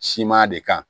Siman de kan